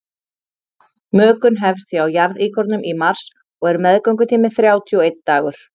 mökun hefst hjá jarðíkornum í mars og er meðgöngutíminn þrjátíu og einn dagur